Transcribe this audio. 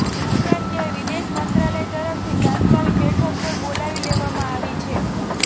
ઉપરાંત ત્યાં વિદેશમંત્રાલય તરફથી તત્કાલ બેઠક પણ બોલાવી લેવામાં આવી છે